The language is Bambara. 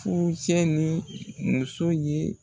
Furucɛ ni muso ye